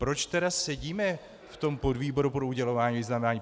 Proč tedy sedíme v tom podvýboru pro udělování vyznamenání?